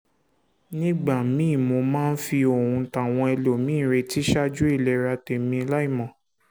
nígbà míì mo máa ń fi ohun táwọn ẹlòmíì ń retí ṣáájú ìlera tèmi láìmọ̀